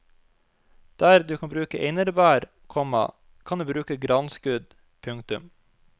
Der du kan bruke einerbær, komma kan du bruke granskudd. punktum